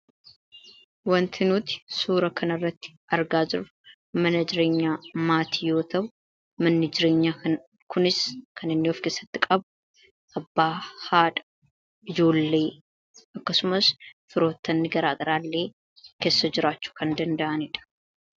wanti nuuti suura kana irratti argaa jirru mana jireenyaa maatii hiriyoota mana jireenyaa kunis kan inni of keessatti qabu abbaa haadha ijoollee akkasumas firoottani garaagaraa llee keessa jiraachu kan danda'anidha